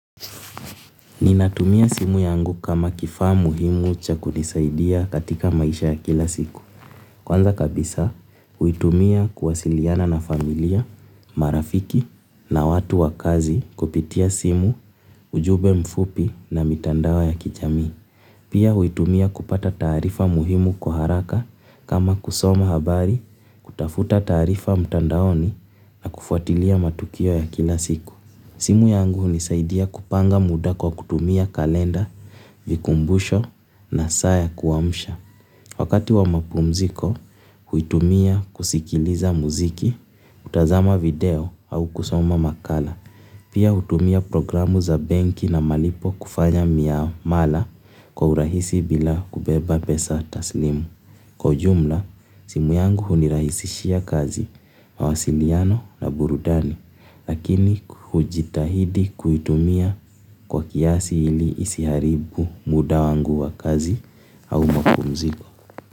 Ninatumia simu yangu kama kifaa muhimu cha kunisaidia katika maisha ya kila siku. Kwanza kabisa, huitumia kuwasiliana na familia, marafiki na watu wakazi kupitia simu, ujube mfupi na mitandao ya kijamii. Pia huitumia kupata taarifa muhimu kwaharaka kama kusoma habari, kutafuta taarifa mtandaoni na kufuatilia matukio ya kila siku. Simu yangu hunisaidia kupanga muda kwa kutumia kalenda vikumbusho na saa ya kuwamsha. Wakati wa mapumziko, huitumia kusikiliza muziki, kutazama video au kusoma makala. Pia hutumia programu za benki na malipo kufanya mia mala kwa urahisi bila kubeba pesa taslimu. Kwa ujumla, simu yangu hunirahisishia kazi mawasiliano na burudani, lakini hujitahidi kuitumia kwa kiasi hili isiharibu muda wangu wa kazi au mapumziko.